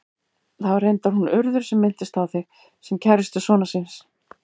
Það var reyndar hún Urður sem minntist á þig, sem kærustu sonar síns.